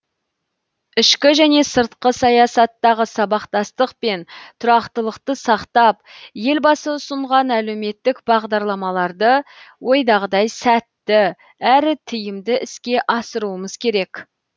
ішкі және сыртқы саясаттағы сабақтастық пен тұрақтылықты сақтап елбасы ұсынған әлеуметтік бағдарламаларды ойдағыдай сәтті әрі тиімді іске асыруымыз керек